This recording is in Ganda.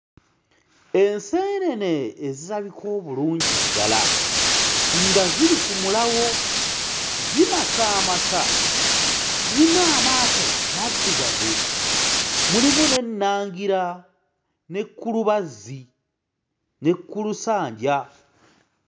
Enseenene ezirabika obulungi ddala nga ziri ku mulawo zimasaamasa ziyina amaaso maddugavu mulimu n'ennangira ne kkulubazzi ne kkulusanja.